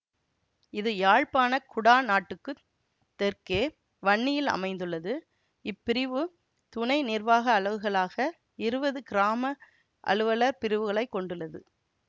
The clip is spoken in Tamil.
இது யாழ்ப்பாண குடாநாட்டுக்குத் தெற்கே வன்னியில் அமைந்துள்ளது இப் பிரிவு துணை நிர்வாக அலகுகளாக இருவது கிராம அலுவலர் பிரிவுகளை கொண்டுள்ளது